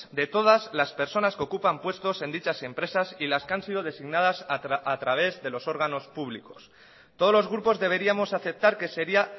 de todas las personas que ocupan puestos en dichas empresas y las que han sido designadas a través de los órganos públicos todos los grupos deberíamos aceptar que sería